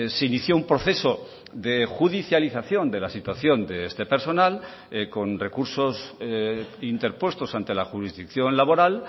se inició un proceso de judicialización de la situación de este personal con recursos interpuestos ante la jurisdicción laboral